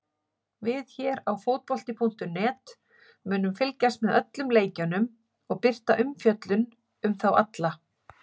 Við hér á fótbolti.net munum fylgjast með öllum leikjunum og birta umfjöllun um þá alla.